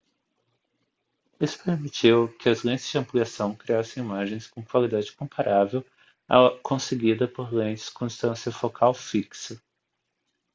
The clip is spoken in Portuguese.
isso permitiu que as lentes de ampliação criassem imagens com qualidade comparável à conseguida por lentes com distância focal fixa